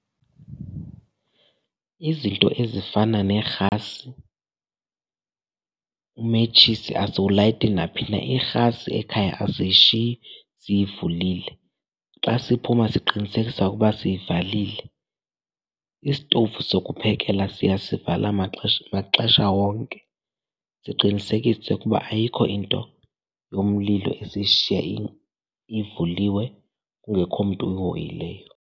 Izinto ezifana neerhasi, umetshisi asiwulayiti naphina. Irhasi ekhaya asishiyi siyivulile, xa siphuma siqinisekisa ukuba siyivalile. Isitovu sokuphekela siyasivala maxesha wonke, siqinisekise ukuba ayikho into yomlilo esiyishiya ivuliwe kungekho mntu uyihoyileyo.